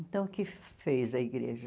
Então, o que fez a igreja?